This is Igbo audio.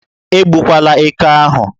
Egbukwala éké ahụ!